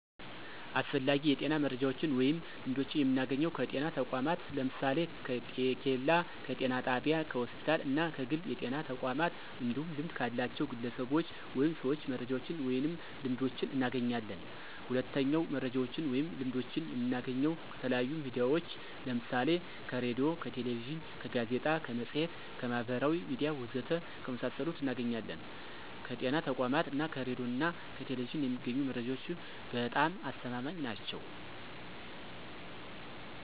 አስፈላጊ የጤና መረጃዎችን ወይም ልምዶችን የምናገኘው ከጤና ተቋማት ለምሳሌ፦ ከጤኬላ፣ ከጤና ጣቢያ፣ ከሆስፒታል እና ከግል የጤና ተቋማት እንዲሁም ልምድ ካላቸው ግለሰቦች ወይም ሰዎች መረጃዎችን ወይንም ልምዶችን እናገኛለን። ሁለተኛው መረጃዎችን ወይም ልምዶችን የምናገኘው ከተለያዩ ሚዲያዎች ለምሳሌ ከሬዲዮ፣ ከቴሌቪዥን፣ ከጋዜጣ፣ ከመፅሔት፣ ከማህበራዊ ሚዲያ ወዘተ ከመሳሰሉት እናገኛለን። ከጤና ተቋማት እና ከሬዲዮ ና ቴሌቪዥን የሚገኙ መረጃዎች በጣም አስተማማኝ ናቸው።